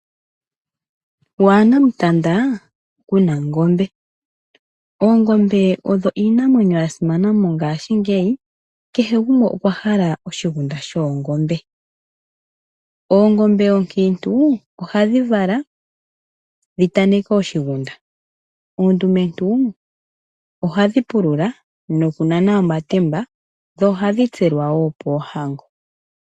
Waanamutanda Kuna ongombe. Oongombe odho iinamwenyo ya simana mongashingeyi. Kehe gumwe okwa hala oshigunda shoongombe. Oongombe oonkiintu ohadhi vala dhi taneke oshigunda , oondumentu ohadhi pulula, nokunana omatemba dho ohadhi tselwa woo poohango.